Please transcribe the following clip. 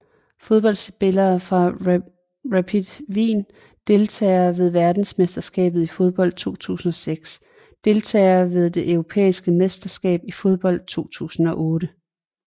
Fodboldspillere fra Rapid Wien Deltagere ved verdensmesterskabet i fodbold 2006 Deltagere ved det europæiske mesterskab i fodbold 2008